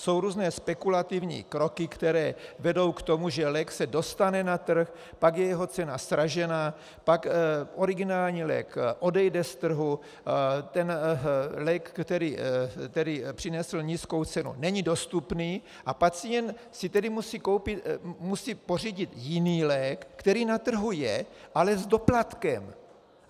Jsou různé spekulativní kroky, které vedou k tomu, že lék se dostane na trh, pak je jeho cena sražena, pak originální lék odejde z trhu, ten lék, který přinesl nízkou cenu, není dostupný, a pacient si tedy musí pořídit jiný lék, který na trhu je, ale s doplatkem.